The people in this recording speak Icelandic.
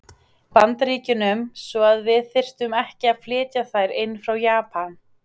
Bandaríkjunum, svo að við þyrftum ekki að flytja þær inn frá Japan.